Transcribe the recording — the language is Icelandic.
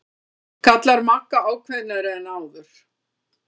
kallar Magga ákveðnari en áður.